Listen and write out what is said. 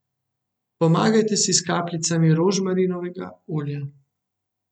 Pomagajte si s kapljicami rožmarinovega olja.